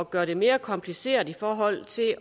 gøre det mere kompliceret i forhold til